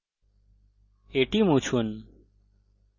এটি মুছুন